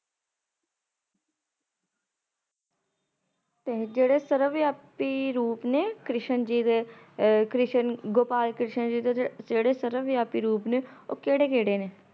ਤੇ ਜੇੜੇ ਸਰਵਵਿਆਪੀ ਰੂਪ ਨੇ ਕ੍ਰਿਸ਼ਨ ਜੀ ਦੇ ਆਹ ਕ੍ਰਿਸ਼ਨ ਗੋਪਾਲ ਕ੍ਰਿਸ਼ਨ ਜੇ ਦੇ ਜੇੜੇ ਸਰਵਵਿਆਪੀ ਰੂਪ ਨੇ ਉਹ ਕੇੜੇ-ਕੇੜੇ ਨੇ?